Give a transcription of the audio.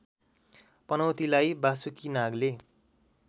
पनौतीलाई Basuki Nagle